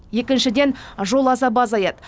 екіншіден жол азабы азаяды